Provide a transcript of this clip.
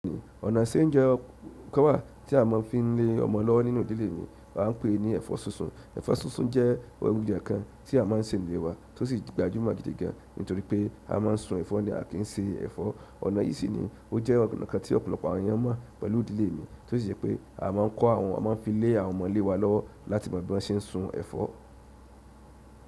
Ọ̀nà ṣe é jẹ́ kẹ́wàá tí a máa ń fi ń lé ọmọ lọ́wọ́ nínú ìdílé mi, a ń pè é ní ẹ̀fọ́ súnsun. Ẹ̀fọ́ súnsun jẹ́ oúnjẹ kan tí a má ń sè nílé wa, tó sì gbajúmọ̀ gidi gan, nítorí pé a má ń sun ẹ̀fọ́ ni a kì í se ẹ̀fọ́. Ọ̀nà yìí sì ni ó jẹ́ ọ̀kan tí ọ̀pọ̀lọpọ̀ àwọn ẹyàn mọ̀ pẹ̀lú ìdílé mi, tó sì jẹ́ pé a má ń kó àwọn, a má ń fi lé àwọn ọmọlé wa lọ́wọ́ láti ìgbà tí wọ́n ṣe ń sun ẹ̀fọ́.